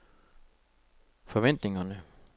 forventningerne